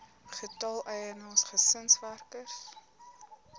getal eienaars gesinswerkers